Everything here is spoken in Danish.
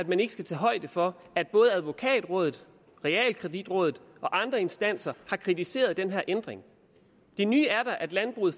man ikke skal tage højde for at både advokatrådet realkreditrådet og andre instanser har kritiseret den her ændring det nye er da at landbruget